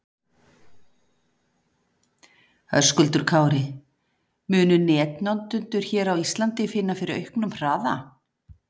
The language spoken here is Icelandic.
Höskuldur Kári: Munu netnotendur hér á Íslandi finna fyrir auknum hraða?